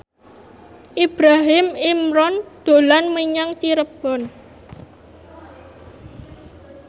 Ibrahim Imran dolan menyang Cirebon